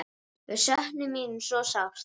Við söknum þín svo sárt.